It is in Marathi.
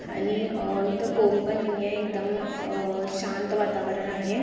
आणि इत कोण पण नाही है एकदम शांत वातावरण आहे ।